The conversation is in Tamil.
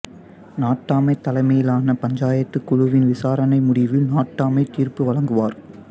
நாட்டாமை தலைமையிலான பஞ்சாயத்து குழுவின் விசாரணை முடிவில் நாட்டாமை தீர்ப்பு வழங்குவார்